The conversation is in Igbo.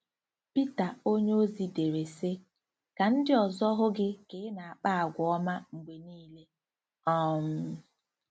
Pita onyeozi dere, sị: “ Ka ndị ọzọ hụ gị ka ị na-akpa àgwà ọma mgbe niile. um